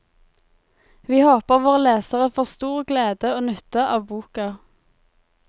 Vi håper våre lesere får stor glede og nytte av boka.